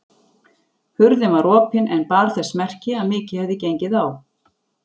Hurðin var opin en bar þess merki að mikið hefði gengið á.